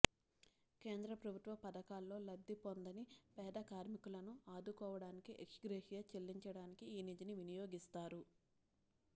కేంద్ర ప్రభుత్వ పథకాల్లో లబ్ధి పొందని పేద కార్మికులను ఆదుకోవడానికి ఎక్స్ గ్రేషియా చెల్లించడానికి ఈ నిధిని వినియోగిస్తారు